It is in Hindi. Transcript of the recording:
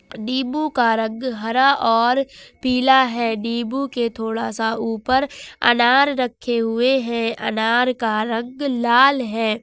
नींबू का रंग हरा और पीला है नींबू के थोड़ा सा ऊपर अनार रखे हुए हैं अनार का रंग लाल है।